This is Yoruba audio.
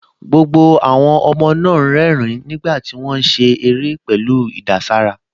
Gbogbo àwọn ọmọ náà ń rẹ́rìn-ín nígbà tí wọ́n ń ṣeré pẹ̀lú ìdàsára